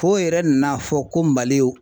Fo yɛrɛ nan'a fɔ ko Mali ye o